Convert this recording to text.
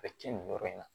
A bɛ tiɲɛ nin yɔrɔ in na